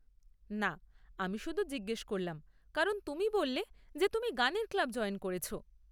না, আমি শুধু জিজ্ঞেস করলাম, কারণ তুমি বললে যে তুমি গানের ক্লাব জয়েন করেছ।